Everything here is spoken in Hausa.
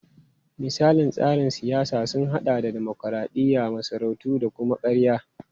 Misalan tsarin siyasa sun hada da dimokuradiyya, masarautu da kama-karya.